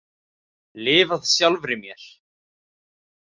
Lifað sjálfri mér.